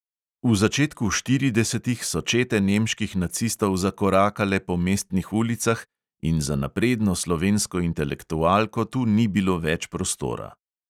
V začetku štiridesetih so čete nemških nacistov zakorakale po mestnih ulicah in za napredno slovensko intelektualko tu ni bilo več prostora.